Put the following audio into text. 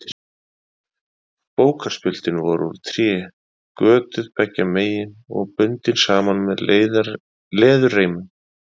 Bókarspjöldin voru úr tré, götuð beggja megin og bundin saman með leðurreimum.